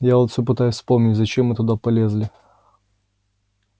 я вот всё пытаюсь вспомнить зачем мы туда полезли